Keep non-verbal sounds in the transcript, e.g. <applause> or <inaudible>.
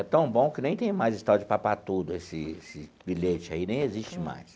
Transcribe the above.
É tão bom que nem tem mais esse tal de, <unintelligible> esse esse bilhete aí, nem existe mais.